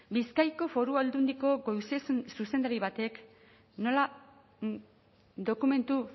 bizkaiko foru aldundiko goi zuzendari batek nola dokumentu